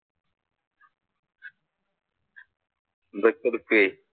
അതൊക്കെ എടുക്കും.